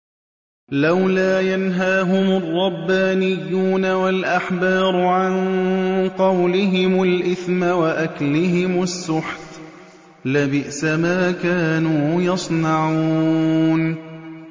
لَوْلَا يَنْهَاهُمُ الرَّبَّانِيُّونَ وَالْأَحْبَارُ عَن قَوْلِهِمُ الْإِثْمَ وَأَكْلِهِمُ السُّحْتَ ۚ لَبِئْسَ مَا كَانُوا يَصْنَعُونَ